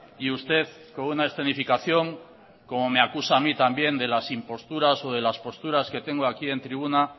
y usted con una escenificación como me acusa a mí también de las imposturas o de las posturas que tengo aquí en tribuna